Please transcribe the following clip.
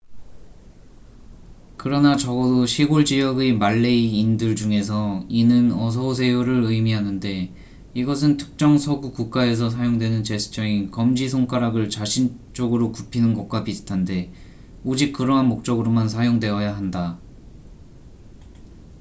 "그러나 적어도 시골 지역의 말레이인들 중에서 이는 "어서 오세요""를 의미하는데 이것은 특정 서구 국가에서 사용되는 제스처인 검지 손가락을 자신 쪽으로 굽히는 것과 비슷한데 오직 그러한 목적으로만 사용되어야 한다.